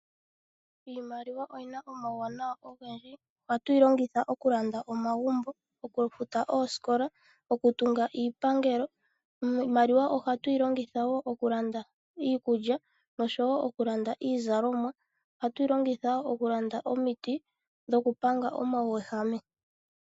Iimaliwa oyina omauwanawa ogendji. Ohatu yi longitha oku landa omagumbo, oku futa oosikola, oku tunga iipangelo. Iimaliwa ohatu yi longitha wo oku landa iikulya noshowo oku landa iizalomwa. Ohatu yi longitha wo oku landa omiti dhoku panga omauyehame.